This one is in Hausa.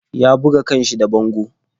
Ya buga kan shi da bango.